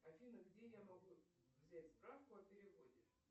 афина где я могу взять справку о переводе